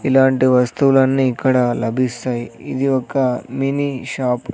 ఇలాంటి వస్తువులన్నీ ఇక్కడ లభిస్తాయి ఇది ఒక మినీ షాపు .